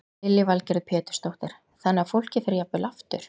Lillý Valgerður Pétursdóttir: Þannig að fólki fer jafnvel aftur?